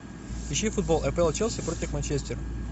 ищи футбол апл челси против манчестер